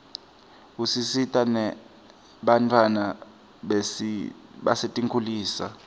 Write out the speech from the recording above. isita nebantfwana basetinkitulisa